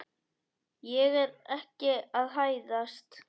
Ég er ekki að hæðast.